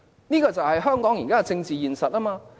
這就是香港現時的政治現實。